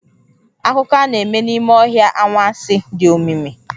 Akụkọ a na-eme n'ime ọhịa anwansi, dị omimi.